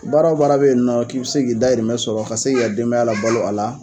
Baara o baara bɛ yen nɔ k'i bi se k'i dahirimɛ sɔrɔ ka se k'i ka denbaya labalo a la